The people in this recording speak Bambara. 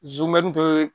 Zumɛn to ye